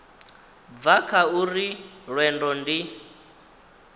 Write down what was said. bva kha uri lwendo ndi